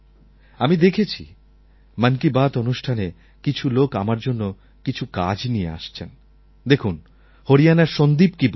আমি দেখেছি মন কি বাত অনুষ্ঠানে কিছু লোক আমার জন্য কিছু কাজ নিয়ে আসছেন দেখুন হরিয়ানার সন্দীপ কি বলছেন